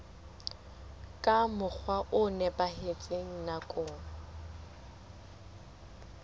ka mokgwa o nepahetseng nakong